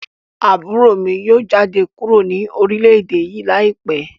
Aburo mi yoo jade kuro ni orilẹ-ede yii laipẹ